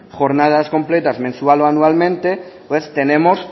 jornadas completas mensual o anualmente pues tenemos